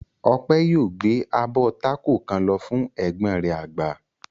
Ọpẹ̀ yóò gbé abọ́ tákò kan lọ fún ẹ̀gbọ́n rẹ̀ àgbà.